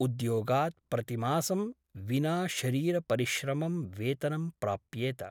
उद्योगात् प्रतिमासं विना शरीरपरिश्रमं वेतनं प्राप्येत ।